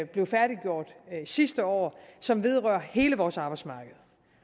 blev færdiggjort sidste år som vedrører hele vores arbejdsmarked